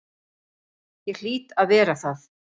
Ég hlýt að vera það.